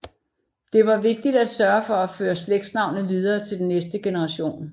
Det var vigtigt at sørge for at føre slægtsnavnet videre til næste generation